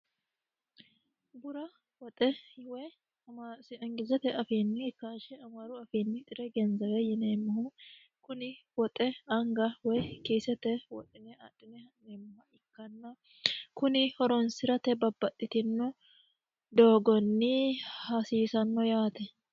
bura woxe woy engilizete afiinni kaahshe amaaru afiinni xire genzaawe yineemmohu kuni woxe anga woy kiisete wodine adhine ha'neemmoh ikkanna kuni horonsi'rate babbaxxitino doogonni hasiisanno yaate